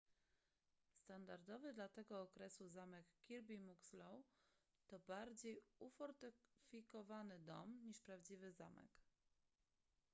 standardowy dla tego okresu zamek kirby muxloe to bardziej ufortyfikowany dom niż prawdziwy zamek